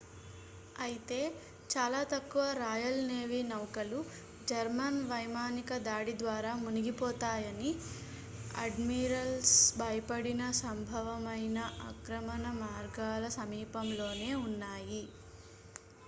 అయితే చాలా తక్కువ రాయల్ నేవీ నౌకలు జర్మన్ వైమానిక దాడి ద్వారా మునిగిపోతామని అడ్మిరల్స్ భయపడిన సంభవమైన ఆక్రమణ మార్గాల సమీపంలో నే ఉన్నాయి